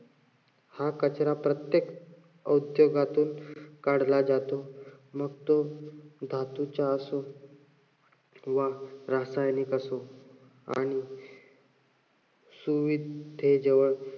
हा कचरा प्रत्येक औद्योगातून काढला जातो. मग तो धातूचा असो किंवा रासायनिक असो आणि